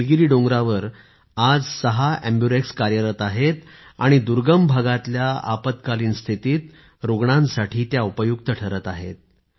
निलगिरी डोंगरावर आज सहा एम्बुरेक्स कार्यरत आहे आणि दुर्गम भागातल्या आपत्कालीन स्थितीत रुग्णांसाठी उपयुक्त ठरत आहेत